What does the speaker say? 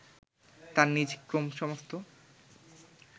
তার নিজ ক্রোমসোমস্থ